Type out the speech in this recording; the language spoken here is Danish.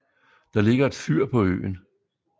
Der ligger et fyr på øen